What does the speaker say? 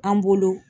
An bolo